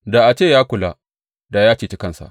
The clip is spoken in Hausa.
Da a ce ya kula, da ya ceci kansa.